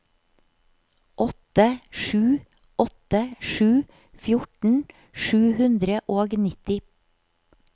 åtte sju åtte sju fjorten sju hundre og nitti